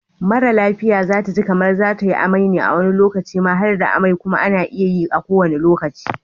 Mara lafia zataji kamar zatayi amai ne wani lokacin ma harda amai kuma ana iya yi a kowanne lokaci